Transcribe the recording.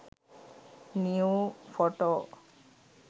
new photo